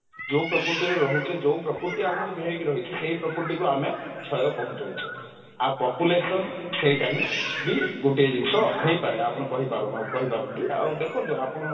ଯଉ ପ୍ରକୃତିରେ ରହୁଛେ ଯଉ ପ୍ରକୃତି ଆମକୁ ଘେରିକି ରହିଛି ସେଇ ପ୍ରକୃତି କୁ ଆମେ କ୍ଷୟ ପହଞ୍ଚୁଛେ ଆ population ସେଇଟା ହିଁ ବି ଗୋଟିଏ ଜିନିଷ ହେଇପାରେ ଆପଣ କହିପାରନ୍ତି ଆଉ ଦେଖନ୍ତୁ ଆପଣ